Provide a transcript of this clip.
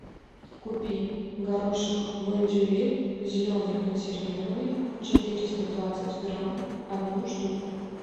купи горошек бондюэль зеленый консервированный четыреста двадцать грамм одну штуку